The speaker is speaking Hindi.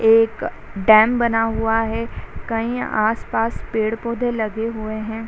एक डैम बना हुआ है कहीं आस-पास पेड़-पौधे लगे हुए हैं।